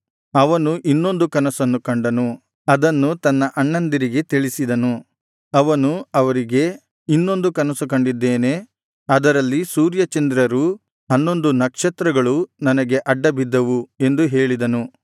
ಅವನು ಇನ್ನೊಂದು ಕನಸನ್ನು ಕಂಡನು ಅದನ್ನು ತನ್ನ ಅಣ್ಣಂದಿರಿಗೆ ತಿಳಿಸಿದನು ಅವನು ಅವರಿಗೆ ಇನ್ನೊಂದು ಕನಸು ಕಂಡಿದ್ದೇನೆ ಅದರಲ್ಲಿ ಸೂರ್ಯಚಂದ್ರರೂ ಹನ್ನೊಂದು ನಕ್ಷತ್ರಗಳೂ ನನಗೆ ಅಡ್ಡ ಬಿದ್ದವು ಎಂದು ಹೇಳಿದನು